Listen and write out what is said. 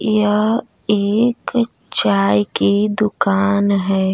यह एक चाय की दुकान है।